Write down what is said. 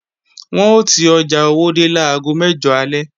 Wọn ò ti ọjà Owódé láago mẹ́jọ alẹ́